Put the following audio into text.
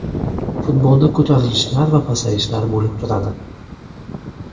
Futbolda ko‘tarilishlar va pasayishlar bo‘lib turadi.